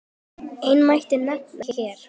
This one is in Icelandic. Eina mætti nefna hér.